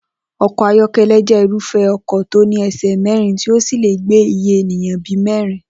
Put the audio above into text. O̩kò̩ ayó̩ké̩lé̩ jé̩ irúfé̩ o̩kò̩ tó ní e̩sè̩ mé̩rin tí ó sì lè gbé iye ènìyàn bí i mé̩rin